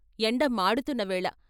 ఎండ మాడుతున్న వేళ.